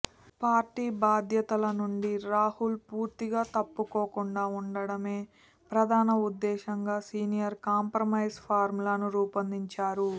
party బాధ్యతల నుంచి రాహుల్ పూర్తిగా తప్పుకోకుండా ఉంచడమే ప్రధాన ఉద్దేశంగా సీనియర్లు కాంప్రమైజ్ ఫార్ములాను రూపొందించారు